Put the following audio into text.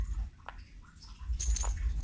Og eitt í viðbót.